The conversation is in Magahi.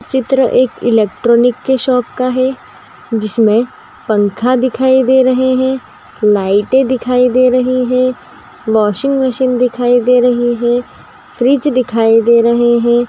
चित्र एक इलेक्ट्रॉनिक के शॉप का है जिसमें पंखा दिखाई दे रहे हैं लाइटे दिखाई दे रहे हैं वाशिंग मशीन दिखाई दे रहे हैं फ्रीज दिखाई दे रहे हैं ।